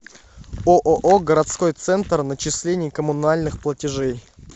ооо городской центр начислений коммунальных платежей